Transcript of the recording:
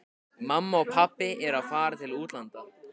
Mamma og pabbi eru að fara til útlanda.